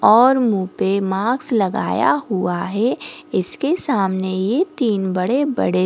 और मुंह पे मार्क्स लगाया हुआ है इसके सामने ये तीन बड़े-बड़े --